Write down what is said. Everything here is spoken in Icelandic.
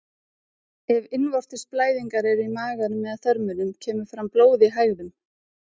Ef innvortis blæðingar eru í maganum eða þörmum kemur fram blóð í hægðum.